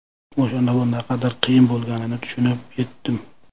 O‘shanda bu naqadar qiyin bo‘lganini tushunib yetdim.